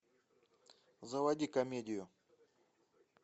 заводи комедию